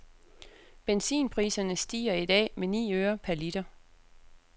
Benzinpriserne stiger i dag med ni øre per liter.